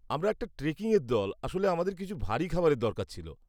আমরা একটি ট্রেকিংয়ের দল; আসলে আমাদের কিছু ভারি খাবারের দরকার ছিল।